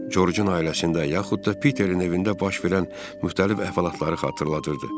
Corcun ailəsində, yaxud da Piterin evində baş verən müxtəlif əhvalatları xatırladırdı.